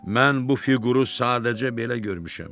Mən bu fiquru sadəcə belə görmüşəm.